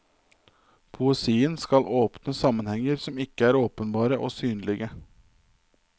Poesien skal åpne sammenhenger som ikke er åpenbare og synlige.